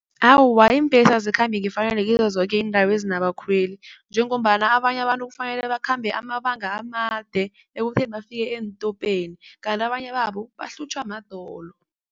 Awa, iimbhesi azikhambi ngefanelo kizo zoke iindawo ezinabakhweli njengombana abanye abantu kufanele bakhambe amabanga amade ekutheni bafike eentopeni, kanti abanye babo bahlutjhwa madolo.